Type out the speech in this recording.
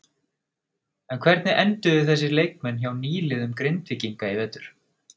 En hvernig enduðu þessir leikmenn hjá nýliðum Grindvíkinga í vetur?